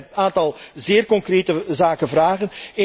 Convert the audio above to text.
Ik denk dat wij een aantal zeer concrete zaken vragen.